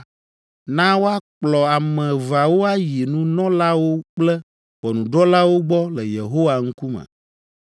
na woakplɔ ame eveawo ayi nunɔlawo kple ʋɔnudrɔ̃lawo gbɔ le Yehowa ŋkume.